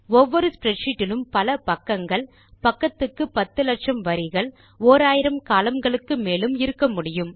ஒவ்வொரு ஸ்ப்ரெட்ஷீட் இலும் பல பக்கங்கள் பக்கத்துக்கு பத்து லட்சம் வரிகள் ஓராயிரம் columnகளுக்கு மேலும் இருக்கமுடியும்